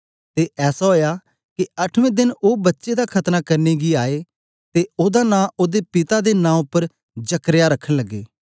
ते ऐसा ओया के अठमें देन ओ बच्चे दा खतना करने गी आए ते ओदा नां ओदे पिता दे नां उपर जकर्याह रखन लगे